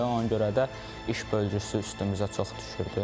Ona görə də iş bölgüsü üstümüzə çox düşürdü.